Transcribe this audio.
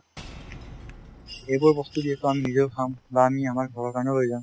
এইবোৰ বস্তু যিহেতু আমি নিজেও খাম বা আমি আমাৰ ঘৰৰ কাৰণেও লৈ যাম